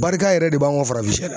Barika yɛrɛ de b'anw ka farafinsiyɛ la.